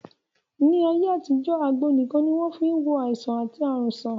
Ní ayé àtijọ́, àgbo nìkan ni wọ́n fí n wo àìsàn àti ààrùn sàn